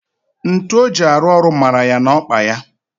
Ntu o ji arụ ọrụ mara ya n'okpa ya